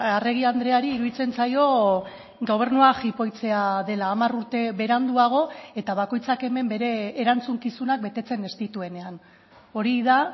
arregi andreari iruditzen zaio gobernua jipoitzea dela hamar urte beranduago eta bakoitzak hemen bere erantzukizunak betetzen ez dituenean hori da